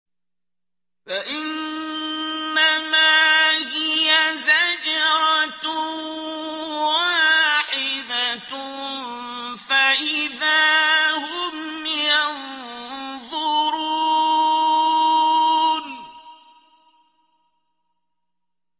فَإِنَّمَا هِيَ زَجْرَةٌ وَاحِدَةٌ فَإِذَا هُمْ يَنظُرُونَ